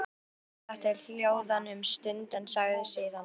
Guðmund setti hljóðan um stund en sagði síðan: